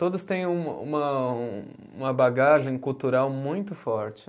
Todos têm um uma, uma bagagem cultural muito forte.